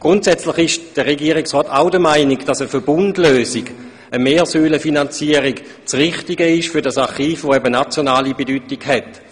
Grundsätzlich ist der Regierungsrat auch der Meinung, für dieses Archiv, welches eben nationale Bedeutung hat, sei eine Verbundlösung, eine Mehrsäulenfinanzierung, das Richtige.